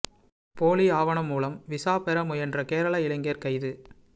போலி ஆவணம் மூலம் விசா பெற முயன்ற கேரள இளைஞா் கைது